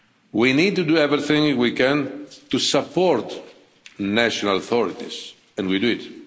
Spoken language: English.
We need to do everything we can to support national authorities and we do it.